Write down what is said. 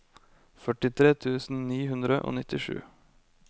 førtitre tusen ni hundre og nittisju